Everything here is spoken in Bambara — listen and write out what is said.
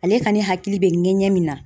Ale kɔni hakili bɛ ŋɛɲɛ min na